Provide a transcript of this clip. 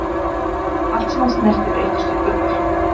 allt sem hann snerti breyttist í gull